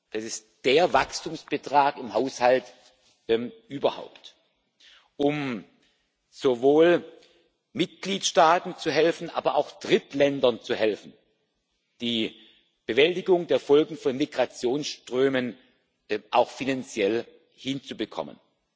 Das ist der Wachstumsbetrag im Haushalt überhaupt, um sowohl Mitgliedstaaten als auch Drittländern zu helfen, die Bewältigung der Folgen von Migrationsströmen auch finanziell hinzubekommen.